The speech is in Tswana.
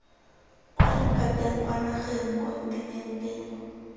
kwa lephateng kwa nageng kontinenteng